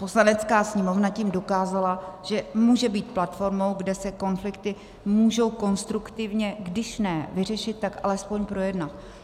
Poslanecká sněmovna tím dokázala, že může být platformou, kde se konflikty můžou konstruktivně když ne vyřešit, tak alespoň projednat.